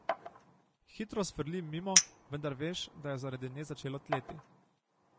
Hitro sfrli mimo, vendar veš, da je zaradi nje začelo tleti.